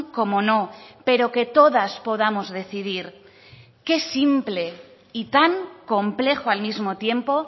como no pero que todas podamos decidir qué simple y tan complejo al mismo tiempo